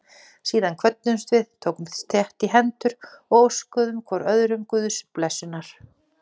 Síðan kvöddumst við, tókumst þétt í hendur og óskuðum hvor öðrum Guðs blessunar.